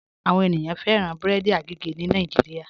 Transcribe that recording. Àwọn ènìyàn fẹran bẹ̀rẹ̀dì àgègè ni Nàìjíríà.